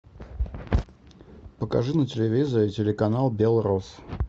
покажи на телевизоре телеканал белрос